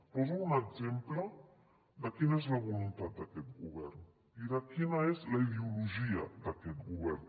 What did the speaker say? poso un exemple de quina és la voluntat d’aquest govern i de quina és la ideologia d’aquest govern